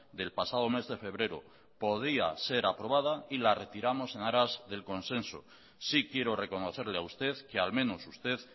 del pasado mes de febrero podría ser aprobada y la retiramos en aras del consenso sí quiero reconocerle a usted que al menos usted